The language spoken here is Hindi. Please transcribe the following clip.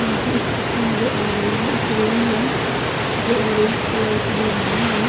मुझे एक चित्र नज़र आ रही है। एक रूम है जो ऑरेंज कलर की दीवाल है।